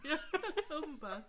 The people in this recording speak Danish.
Ja. Åbenbart